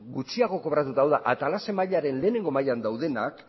gutxiago kobratuta hau da atalase mailaren lehengo mailetan daudenak